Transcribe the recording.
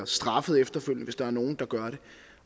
straffer efterfølgende hvis der er nogle der gør det